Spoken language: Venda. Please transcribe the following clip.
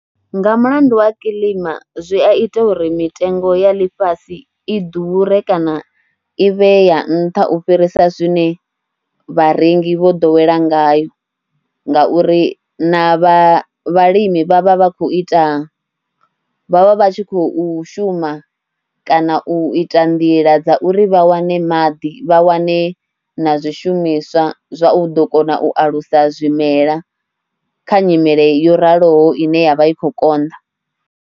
Nga mulandu wa kilima zwi a ita uri mitengo ya ḽifhasi i ḓure kana i vhe ya nṱha u fhirisa zwine vharengi vho ḓowela ngayo ngauri na vhalimi vha vha vha khou ita, vha vha vha tshi khou shuma kana u ita nḓila dza uri vha wane maḓi, vha wane na zwishumiswa zwa u ḓo kona u alusa zwimela kha nyimele yo raliho ine ya vha i khou konḓa.